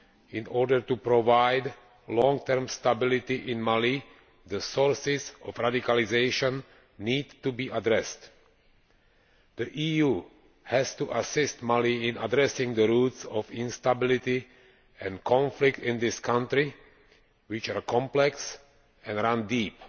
In order to provide long term stability in Mali, the sources of radicalisation need to be addressed. The EU has to assist Mali in addressing the roots of instability and conflict in this country, which are complex and run deep.